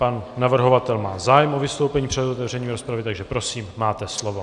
Pan navrhovatel má zájem o vystoupení před otevřením rozpravy, takže prosím, máte slovo.